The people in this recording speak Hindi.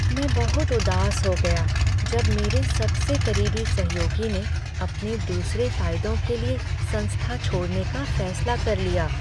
मैं बहुत उदास हो गया जब मेरे सबसे करीबी सहयोगी ने अपने दूसरे फ़ायदों के लिए संस्था छोड़ने का फैसला कर लिया।